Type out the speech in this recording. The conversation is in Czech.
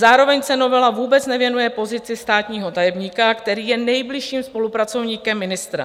Zároveň se novela vůbec nevěnuje pozici státního tajemníka, který je nejbližším spolupracovníkem ministra.